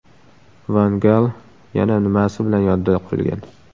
Van Gal yana nimasi bilan yodda qolgan?